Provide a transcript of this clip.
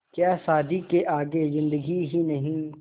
क्या शादी के आगे ज़िन्दगी ही नहीं